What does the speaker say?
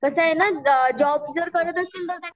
कस आहे न जॉब जर करत असेल तर